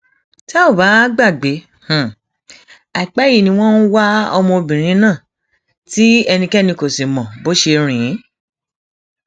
tẹ ò bá gbàgbé àìpẹ yìí ni wọn ń wá ọmọbìnrin náà tí ẹnikẹni kò sì mọ bó ṣe rìn